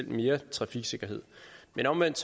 mere trafiksikkerhed men omvendt